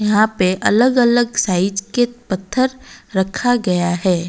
यहां पे अलग अलग साइज के पत्थर रखा गया हैं।